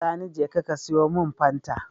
Sani jeka ka siyo mun fanta